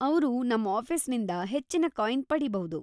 ಅವ್ರು ನಮ್‌ ಆಫೀಸಿನಿಂದ ಹೆಚ್ಚಿನ ಕಾಯಿನ್‌ ಪಡೀಬೌದು.